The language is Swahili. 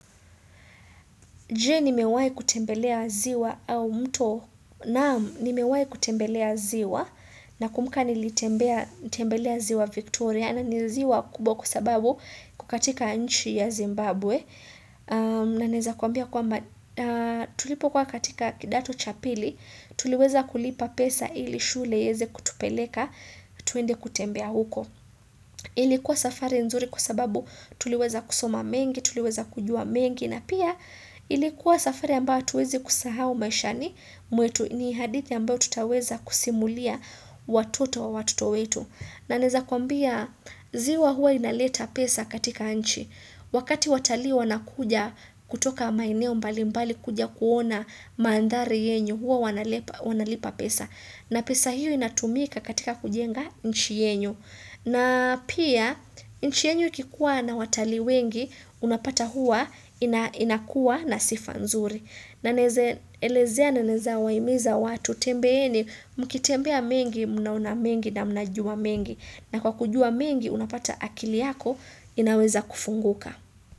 Je nimewahi kutembelea ziwa au mto? Naam nimewahi kutembelea ziwa nakumbuka nilitembea nilitembelea ziwa Victoria na ni ziwa kubwa kwa sababu iko katika nchi ya Zimbabwe. Naweza kuambia kwamba tulipokuwa katika kidato cha pili, tuliweza kulipa pesa ili shule iweze kutupeleka twende kutembea huko. Ilikuwa safari nzuri kwa sababu tuliweza kusoma mengi, tuliweza kujua mengi na pia ilikuwa safari ambayo hatuwezi kusahao maishani mwetu ni hadithi ambayo tutaweza kusimulia watoto wa watoto wetu. Na naweza kuambia ziwa huwa inaleta pesa katika nchi. Wakati watalii wanakuja kutoka maeneo mbali mbali kuja kuona mandhari yenyu huwa wanalipa pesa. Na pesa hiyo inatumika katika kujenga nchi yenyu. Na pia, nchi yenyu ikikuwa na watalii wengi, unapata huwa inakuwa na sifa nzuri. Na naweza, elezea na naweza wahimiza watu, tembeeni, mkitembea mengi, mnaona mengi na mnajua mengi. Na kwa kujua mengi, unapata akili yako, inaweza kufunguka.